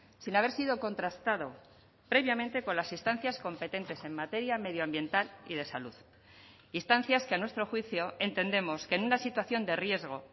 sin haber sido contrastado previamente con las instancias competentes en materia medioambiental y de salud instancias que a nuestro juicio entendemos que en una situación de riesgo